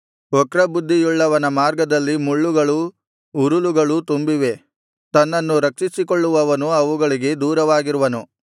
ವಕ್ರಬುದ್ಧಿಯುಳ್ಳವನ ಮಾರ್ಗದಲ್ಲಿ ಮುಳ್ಳುಗಳೂ ಉರುಲುಗಳೂ ತುಂಬಿವೆ ತನ್ನನ್ನು ರಕ್ಷಿಸಿಕೊಳ್ಳುವವನು ಅವುಗಳಿಗೆ ದೂರವಾಗಿರುವನು